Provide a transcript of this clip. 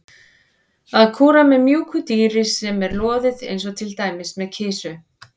Að kúra með mjúku dýri sem er loðið eins og til dæmis með kisu.